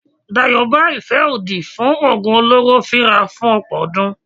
Dayọ̀ bá ìfẹ́ òdì fún oògùn olóró fíra fún ọ̀pọ̀ ọdún.